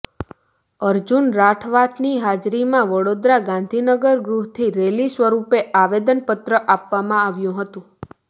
અર્જુન રાઠવાની હાજરીમાં વડોદરા ગાંધીનગર ગૃહથી રેલી સ્વરૂપે આવેદનપત્ર આપવામાં આવ્યું હતું